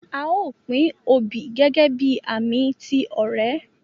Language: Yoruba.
A o pin oobi gẹgẹbi ààmì ti ọrẹ.